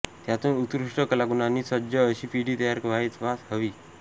त्यातून उत्कृष्ट कलागुणांनी सज्ज अशी पिढी तयार व्हावयास हवी